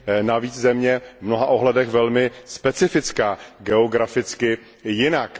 navíc země v mnoha ohledech velmi specifická, geograficky jiná.